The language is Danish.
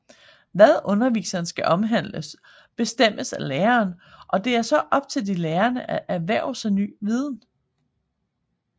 Hvad undervisningen skal omhandle bestemmes af læreren og det er så op til de lærende at erhverve sig ny viden